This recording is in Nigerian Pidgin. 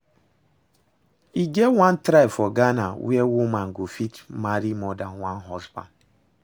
E get one tribe for Ghana where woman go fit marry more dan one husband